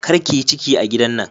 Kar ki yi ciki a gidan nan.